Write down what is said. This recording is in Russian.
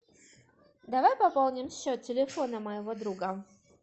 давай пополним счет телефона моего друга